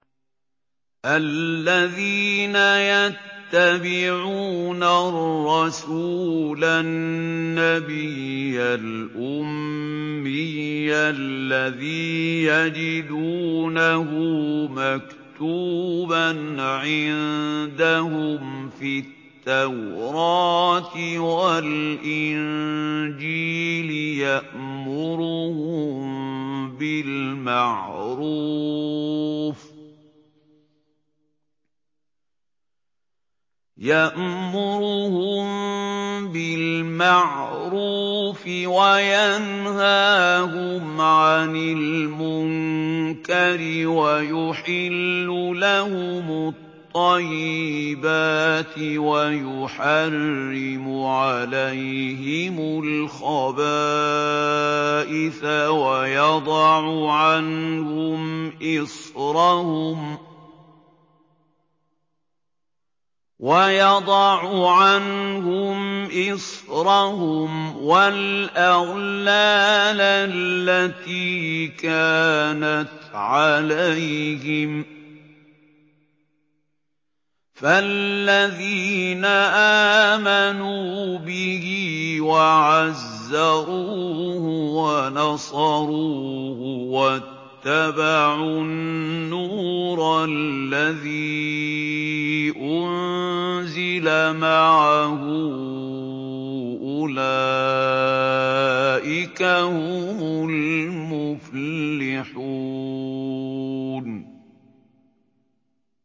الَّذِينَ يَتَّبِعُونَ الرَّسُولَ النَّبِيَّ الْأُمِّيَّ الَّذِي يَجِدُونَهُ مَكْتُوبًا عِندَهُمْ فِي التَّوْرَاةِ وَالْإِنجِيلِ يَأْمُرُهُم بِالْمَعْرُوفِ وَيَنْهَاهُمْ عَنِ الْمُنكَرِ وَيُحِلُّ لَهُمُ الطَّيِّبَاتِ وَيُحَرِّمُ عَلَيْهِمُ الْخَبَائِثَ وَيَضَعُ عَنْهُمْ إِصْرَهُمْ وَالْأَغْلَالَ الَّتِي كَانَتْ عَلَيْهِمْ ۚ فَالَّذِينَ آمَنُوا بِهِ وَعَزَّرُوهُ وَنَصَرُوهُ وَاتَّبَعُوا النُّورَ الَّذِي أُنزِلَ مَعَهُ ۙ أُولَٰئِكَ هُمُ الْمُفْلِحُونَ